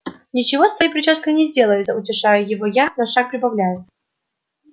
ничего с твоей причёской не сделается утешаю его я но шаг прибавляю